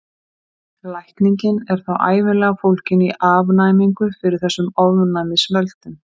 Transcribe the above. Lækningin er þá ævinlega fólgin í afnæmingu fyrir þessum ofnæmisvöldum.